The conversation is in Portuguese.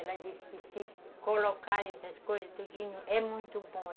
Ela disse que se colocarem essas coisas, tudinho, é muito bom.